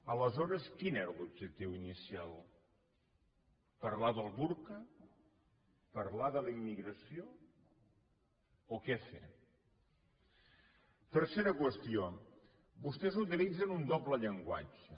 aleshores quin era l’objectiu inicial parlar del burca parlar de la immigració o què fer tercera qüestió vostès un doble llenguatge